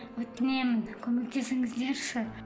өтінемін көмектесіңіздерші